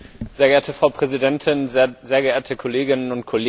Frau Präsidentin, sehr geehrte Kolleginnen und Kollegen!